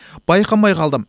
байқамай қалдым